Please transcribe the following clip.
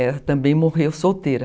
Ela também morreu solteira.